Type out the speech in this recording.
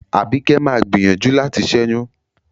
Àbíkẹ́ má a gbìyànjú láti ṣẹ́yún.